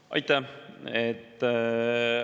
Aitäh!